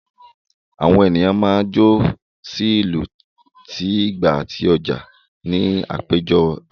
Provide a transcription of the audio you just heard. Àwọn ènìyàn máa ń jó sí ìlù ti igba àti oja níbi àpéjọ àwùjọ